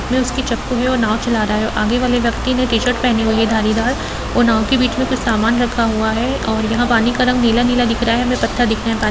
उसमें उसकी चप्पू है और नाव चला रहा है आगे वाले व्यक्ति ने टी-शर्ट पहनी हुई है धारीदार और नाव के बीच में कुछ समान रखा हुआ है और यहाँ पानी का रंग नीला-नीला दिख रहा है हमें पत्थर दिख रहें हैं पानी --